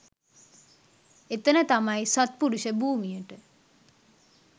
එතන තමයි සත්පුරුෂ භූමියට